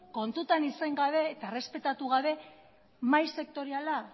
kontutan izan gabe eta errespetatu gabe mahai sektoriala